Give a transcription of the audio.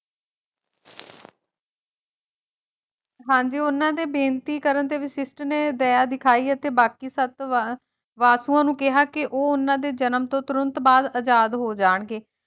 ਹਾਂਜੀ ਉਹਨਾਂ ਦੇ ਬੇਨਤੀ ਕਰਨ ਤੇ ਵਸ਼ਿਸ਼ਠ ਨੇ ਦਇਆ ਦਿਖਾਈ ਅਤੇ ਬਾਕੀ ਸੱਤ ਵ ਵਾਸੂਆਂ ਨੂੰ ਕਿਹਾ ਕਿ ਉਹ ਉਨ੍ਹਾਂ ਦੇ ਜਨਮ ਤੋਂ ਤੁਰੰਤ ਬਾਅਦ ਆਜ਼ਾਦ ਹੋ ਜਾਣਗੇ।